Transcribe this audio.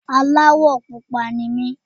Aláwọ̀ pupa ni mí.